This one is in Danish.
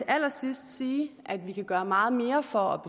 allersidste sige at vi også kan gøre meget mere for